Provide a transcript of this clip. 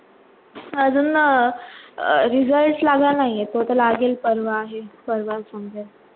अजून result लागला नाही आहे, तो आता लागेल परवा आहे, परवा समजेल.